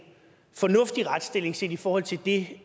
fornuftig retsstilling set i forhold til det